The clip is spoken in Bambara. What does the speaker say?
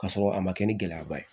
K'a sɔrɔ a ma kɛ ni gɛlɛyaba ye